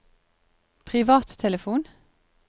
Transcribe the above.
privattelefon